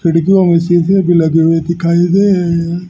खिड़कियों में शीसे भी लगे हुए दिखाई दे रहे हैं।